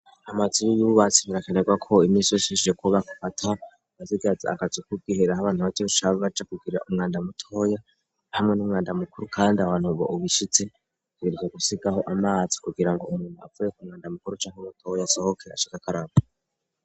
Amazibiybubatsinirakenerwa ko imisooshishije kuba kbata bazigazi agazukukoihera ah'abantu bato ushava baca kugira umwanda mutoya hamwe n'umwanda mukuru, kandi abantu bo ubishitse kubirza gusigaho amazi kugira ngo umuntu avuye ku mwanda mukuru ca kurotoya asohoke ashaka akaraba.